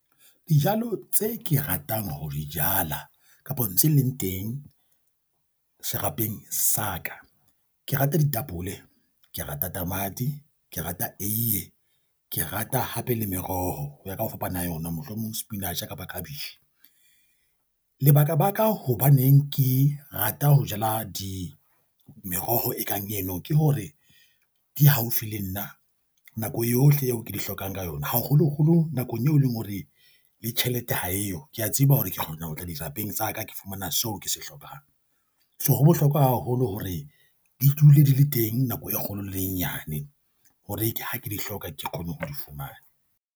Dijalo tse ke ratang ho di jala kapo tse leng teng, serapeng sa ka ke rata ditapole, ke rata tamati, ke rata eiye, ke rata hape le meroho ho ya ka ho fapana ha yona mohlomong spinatjhe kapa khabetjhe. Lebaka baka hobaneng ke rata ho jala meroho e kang eno ke hore di haufi le nna nako yohle eo ke di hlokang ka yona, haholoholo nakong eo leng hore le tjhelete ha eyo, kea tseba hore ke kgona ho tla dirapeng tsa ka, ke fumana seo ke se hlokang. So ho bohlokwa haholo hore di dule di le teng nako e kgolo le e nyane, hore ha ke di hloka ke kgone ho di fumana.